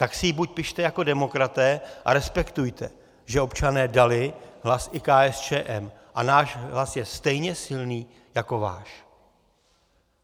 Tak si ji buď pište jako demokraté a respektujte, že občané dali hlas i KSČM, a náš hlas je stejně silný jako váš.